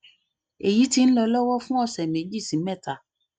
èyí ti ń lọ lọwọ fún ọsẹ méjì sí mẹta